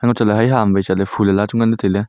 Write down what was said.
chatley hai hama wai chatley phool hala chu nganley tailey.